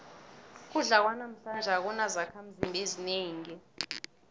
ukudla kwanamhlanje akunazakhimzimba ezinengi